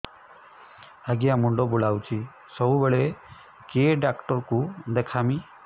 ଆଜ୍ଞା ମୁଣ୍ଡ ବୁଲାଉଛି ସବୁବେଳେ କେ ଡାକ୍ତର କୁ ଦେଖାମି